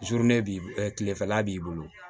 b'i tilefɛla b'i bolo